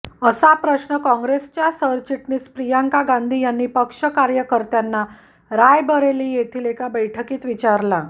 असा प्रश्न कॉंग्रेसच्या सरचिटणीस प्रियांका गांधी यांनी पक्ष कार्यकर्त्यांना रायबरेली येथील एका बैठकीत विचारला